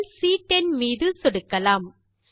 செல் சி10 மீது சொடுக்கலாம்